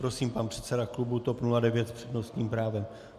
Prosím, pan předseda klubu TOP 09 s přednostním právem.